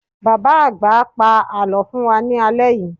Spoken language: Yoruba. Bàbá-àgbà á pa àlọ́ fún wa ní alẹ́ yìí.